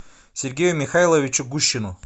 сергею михайловичу гущину